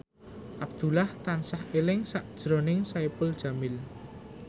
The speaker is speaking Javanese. Abdullah tansah eling sakjroning Saipul Jamil